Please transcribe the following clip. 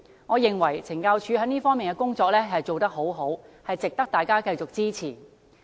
我認為懲教署這方面的工作做得很好，值得大家繼續支持。